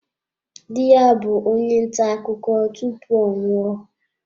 Di ya bụ onye nta akụkọ tupu ọ nwụọ.